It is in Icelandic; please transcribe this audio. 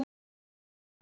Fallegur morgun!